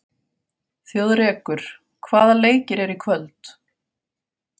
Þjóðrekur, hvaða leikir eru í kvöld?